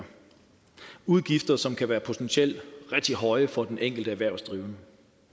udgifter som kan være potentielt rigtig høje for den enkelte erhvervsdrivende